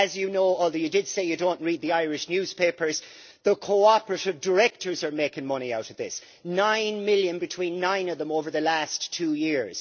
As he knows, although he did say he does not read the Irish newspapers, the cooperative directors are making money out of this nine million between nine of them over the last two years.